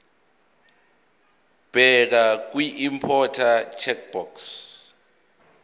bheka kwiimporter checkbox